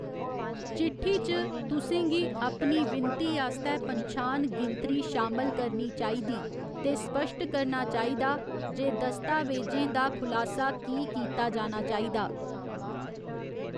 चिट्ठी च, तुसें गी अपनी विनती आस्तै पन्छान गिनतरी शामल करनी चाहिदी ते स्पश्ट करना चाहिदा जे दस्तावेजें दा खुलासा कीह् कीता जाना चाहिदा।